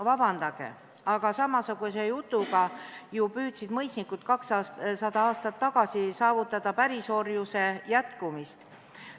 Vabandage, aga samasuguse jutuga püüdsid ju mõisnikud 200 aastat tagasi saavutada pärisorjuse jätkumist.